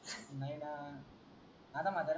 हाना म्हाताऱ्याला